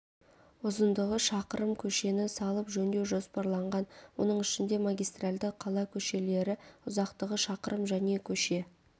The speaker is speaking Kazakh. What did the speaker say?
ұзындығы шақырым көшені салып жөндеу жоспарланған оның ішінде магистральді қала көшелері ұзақтығы шақырым және көше